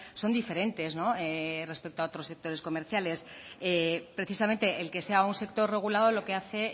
son diferentes respecto a otros sectores comerciales precisamente el que sea un sector regulado lo que hace